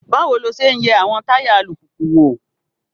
Báwo lo ṣe ń yẹ àwọn táyà alùpùpù wò?